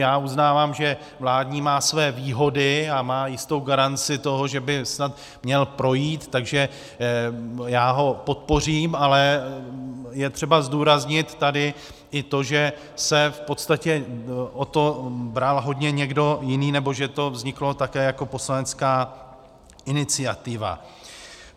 Já uznávám, že vládní má své výhody a má jistou garanci toho, že by snad měl projít, takže já ho podpořím, ale je třeba zdůraznit tady i to, že se v podstatě o to bral hodně někdo jiný, nebo že to vzniklo také jako poslanecká iniciativa.